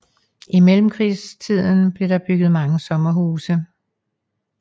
I mellemkrigstiden blev der bygget mange sommerhuse